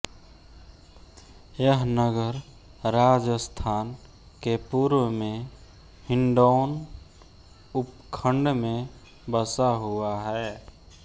यह नगर राजस्थान के पूर्व में हिण्डौन उपखण्ड में बसा हुआ है